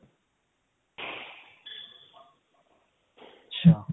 ਅੱਛਾ